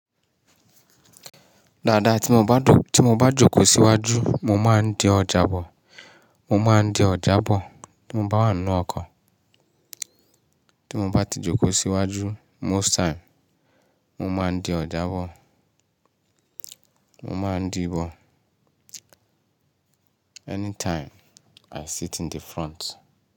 Dáadáa ti mo bá dù, tí mo bá jòkó síwájú, mo máa ń di ọjà bọ̀, mo máa ń di ọ̀já bọ̀ tí mo bá wà ń nú ọkọ̀. Tí mo bá ti jòkó síwájú most time, mo máa ń di ọ̀já bọ̀, mo máa ń dì í bọ̀. Anytime i sit in the front.